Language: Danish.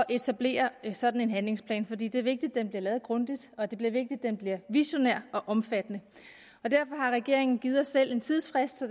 etablere sådan en handlingsplan for det det er vigtigt den bliver lavet grundigt og det det er vigtigt den bliver visionær og omfattende derfor har regeringen givet os selv en tidsfrist